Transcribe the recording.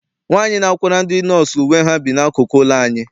Nwaanyi na-akwara ndị nọọsụ uwe ha bi n'akụkụ ụlọ anyị.